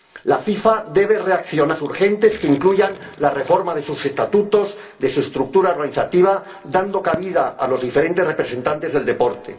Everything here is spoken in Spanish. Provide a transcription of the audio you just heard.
La FIFA debe reaccionar y tomar medidas urgentes que incluyan la reforma de sus estatutos, de su estructura organizativa, dando cabida a los diferentes representantes del deporte.